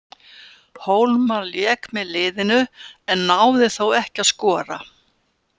Hólmar lék með liðinu, en náði þó ekki að skora.